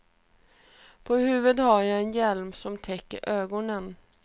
På huvudet har jag en hjälm som täcker ögonen.